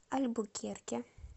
альбукерке